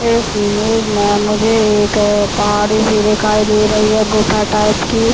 इस इमेज में मुझे एक पहाड़ी- सी दिखाई दे रही है गुफा टाइप की --